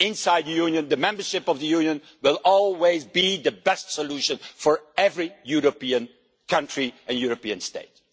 Union. Inside the Union, membership of the Union will always be the best solution for every European country and European state.